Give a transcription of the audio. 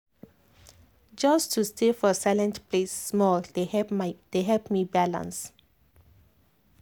just to stay for silent place small dey help me balance.